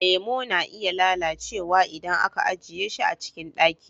Lemo na iya lalacewa idan aka ajiye shi a cikin ɗaki.